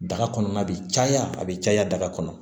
Daga kɔnɔna bi caya a bi caya kɔnɔ